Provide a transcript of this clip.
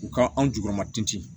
U ka anw jukɔrɔmatin